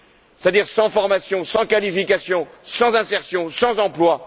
c'est à dire sans formation, sans qualification, sans insertion, sans emploi.